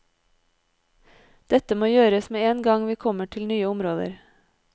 Dette må gjøres med en gang vi kommer til nye områder.